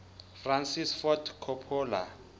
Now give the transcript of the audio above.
francis ford coppola